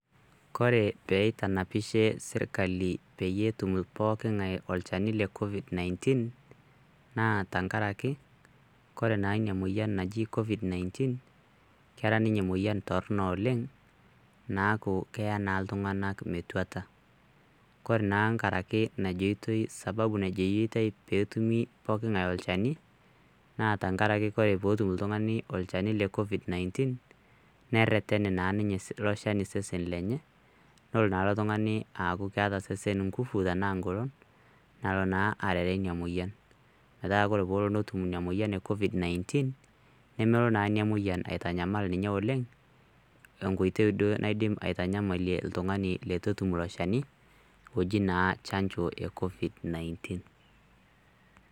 Kore peitanapishe sirkali peyie etum poking'ae olchani le covid 19 naa tenkaraki kore naa inia moyian naji covid 19 kera ninye emoyian torrono oleng' naaku keya naa iltung'anak metuata kore nkaraki najoitoi sababu najoitoi peetumi poking'ae olchani naa tankaraki kore pootum iltung'ani olchani le covid 19 nerreten naa ninye ilo shani sesen lenye nolo naa ilo tung'ani aaku keeta sesen ngufu tanaa ingolon nalo naa arere inia moyian metaa kore poolo netum inia moyian e covid 19 nemolo naa inia moyian aitanyamal ninye oleng' enkoitei duo naidim aitanyamalie iltung'ani letu etum ilo shani oji naa chanjo e covid 19.